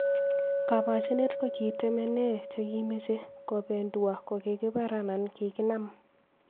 Kapochinet kokitemenee chikimeche kobendua kokikibar anan kikinam.